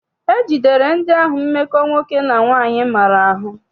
E jidere ndị ahụ mmekọ nwoke na nwaanyị maara ahụ.